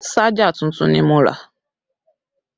Ṣájà tuntun ni mo rà